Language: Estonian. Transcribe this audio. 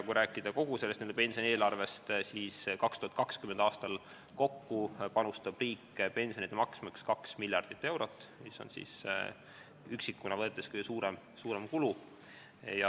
Kui rääkida kogu sellest n-ö pensionieelarvest, siis 2020. aastal panustab riik pensionide maksmiseks 2 miljardit eurot, mis on üksikuna võttes kõige suurem kulu.